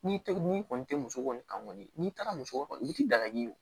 N'i tɛ n'i kɔni tɛ muso kɔni kan kɔni n'i taara muso dagaji ye